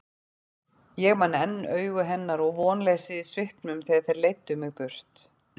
Ég man enn augu hennar og vonleysið í svipnum þegar þeir leiddu mig burt.